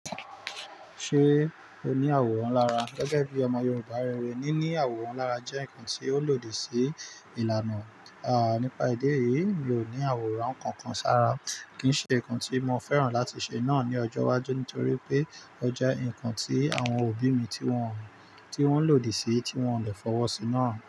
Ṣé o ní àwòrán lára? Gẹ́gẹ́ bí ọmọ Yorùbá rere, níní àwòrán lára jẹ́ nǹkan tí ó lòdì sí ìlànà. À nípa idi eyì í, mi o ní àwòrán kankan sára. Kì í ṣe nǹkan tí mo fẹ́ràn láti ṣe náà ní ọjọ́ iwájú nítorí pé ó jẹ́ nǹkan tí àwọn òbí mi tí wọ́n lòdì sí, tí wọ́n de fọwọ́ sí náà.